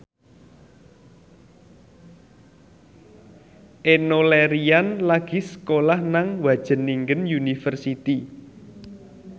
Enno Lerian lagi sekolah nang Wageningen University